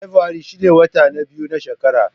Fabrairu shine wata na biyu na shekara.